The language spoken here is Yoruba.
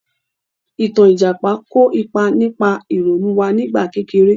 Ìtàn Ìjàpá kò ipa nípa ìrònú wá nígbà kékeré